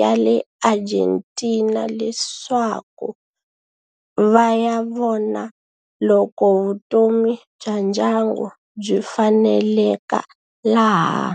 ya le Argentina leswaku va ya vona loko vutomi bya ndyangu byi faneleka laha.